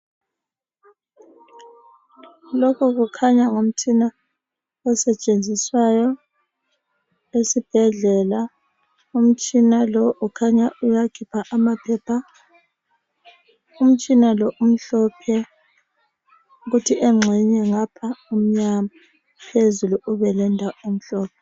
Lokhu kukhanya ngumtshina osetshenziswa esibhedlela umtshina lo ukhanya uyakhipha amaphepha umtshina lo umhlophe kuthi ngapha umnyama phezulu umhlophe